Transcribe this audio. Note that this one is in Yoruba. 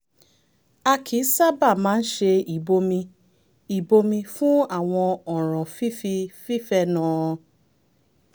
a kì í sábà máa ń ṣe ìbomi ìbomi fún àwọn ọ̀ràn fífi